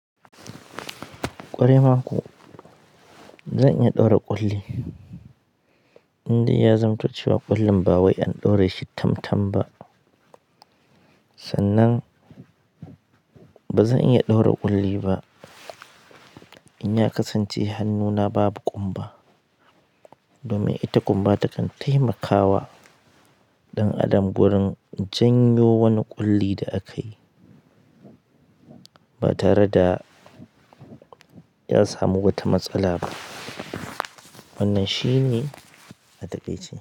Ƙwarai ma ko, zan iya ɗaura ƙulli. Indai ya zamto cewa ƙullin ba wai an ɗaure shi tam-tam ba. Sannan ba zan iya ɗaura ƙulli ba. In ya kasance hannuna babu ƙumba. Domin ita ƙumba takan taimakawa ɗan adam wurin janyo wani ƙulli da akayi. Ba tare da ya samu wata matsala ba. Wannan shi ne a taƙaice.